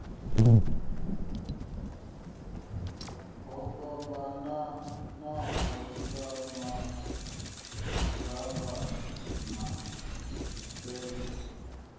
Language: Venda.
ho fhambananaho sa maḓaganana mipengo